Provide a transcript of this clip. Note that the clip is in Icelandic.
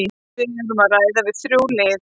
Við erum að ræða við þrjú lið.